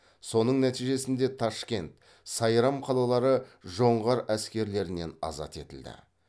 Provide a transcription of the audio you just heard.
соның нәтижесінде ташкент сайрам қалалары жоңғар әскерлерінен азат етілді